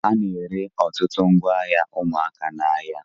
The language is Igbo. A na-ere ọtụtụ ngwa ụmụaka n'ahịa.